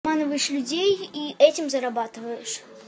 обманываешь людей и этим зарабатываешь